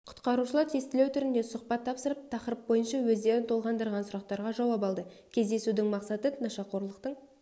құтқарушылар тестілеу түрінде сұхбат тапсырып тақырып бойынша өздерін толғандырған сұрақтарға жауап алды кездесудің мақсаты нашақорлықтың